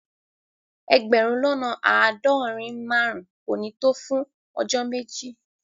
Egberun lona aadorin-marun ko ni to fun ojo meji